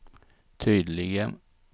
tydligen